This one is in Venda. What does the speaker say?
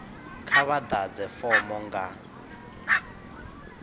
kha vha ḓadze fomo nga